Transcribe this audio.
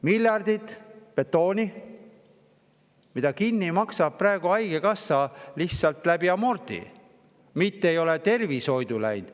Miljardid betooni, mida maksab kinni haigekassa, lihtsalt selle amortisatsiooni, mitte midagi ei ole tervishoidu läinud.